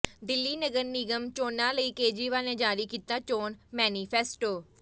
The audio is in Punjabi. ਦਿੱਲੀ ਨਗਰ ਨਿਗਮ ਚੋਣਾਂ ਲਈ ਕੇਜਰੀਵਾਲ ਨੇ ਜਾਰੀ ਕੀਤਾ ਚੋਣ ਮੈਨੀਫੈਸਟੋ